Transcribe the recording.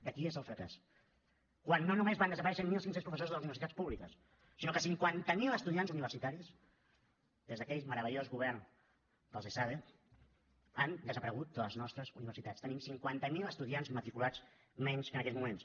de qui és el fracàs quan no només van desaparèixer mil cinc cents professors de les universitats públiques sinó que cinquanta mil estudiants universitaris des d’aquell meravellós govern dels d’esade han desaparegut de les nostres universitats tenim cinquanta mil estudiants matriculats menys en aquests moments